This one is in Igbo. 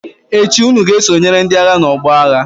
echi unu ga-esonyere ndi-agha n'ọgbọ agha!